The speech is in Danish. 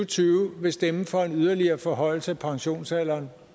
tyve vil stemme for en yderligere forhøjelse af pensionsalderen